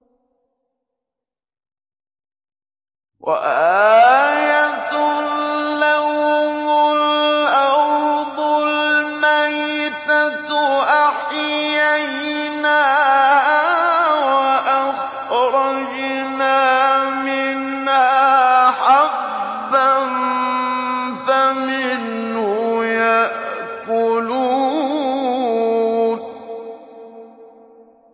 وَآيَةٌ لَّهُمُ الْأَرْضُ الْمَيْتَةُ أَحْيَيْنَاهَا وَأَخْرَجْنَا مِنْهَا حَبًّا فَمِنْهُ يَأْكُلُونَ